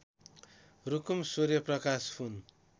Rukum Suryaprakash Pun